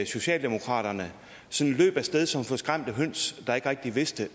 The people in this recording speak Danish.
socialdemokratiet løb af sted som forskræmte høns der ikke rigtig vidste